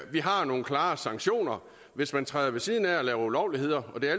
vi har nogle klare sanktioner hvis man træder ved siden af og laver ulovligheder det er